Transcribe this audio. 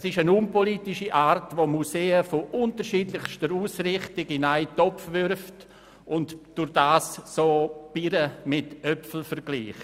Es ist eine unpolitische Art, Museen unterschiedlichster Ausrichtung in einen Topf zu werfen und damit Äpfel mit Birnen zu vergleichen.